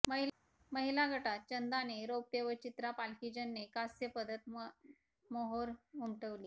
महिला गटात चंदाने रौप्य व चित्रा पालकीजने कास्य पदकावर मोहोर उमटवली